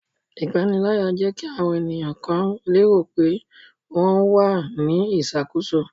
Ipanilaya jẹ ki awọn eniyan kan lero pe wọn wa ni iṣakoso